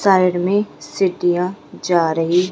side में सिटियां जा रही--